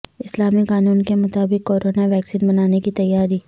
اسلامی قانون کے مطابق کورونا ویکسین بنانے کی تیاری